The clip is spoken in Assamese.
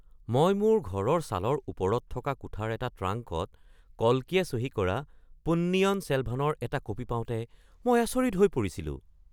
মই মোৰ ঘৰৰ চালৰ ওপৰত থকা কোঠাৰ এটা ট্ৰাংকত কল্কিয়ে চহী কৰা পোন্নিয়িন ছেলভানৰ এটা কপি পাওঁতে মই আচৰিত হৈ পৰিছিলো !